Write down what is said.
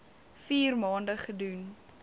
vier maande gedoen